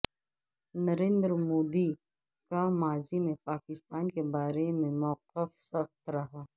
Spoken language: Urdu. نریندر مودی کا ماضی میں پاکستان کے بارے میں موقف سخت رہا ہے